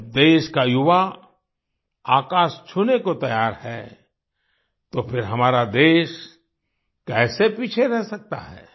जब देश का युवा आकाश छूने को तैयार है तो फिर हमारा देश कैसे पीछे रह सकता है